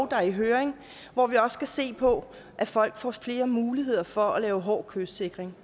der er i høring hvor vi også skal se på at folk får flere muligheder for at lave hård kystsikring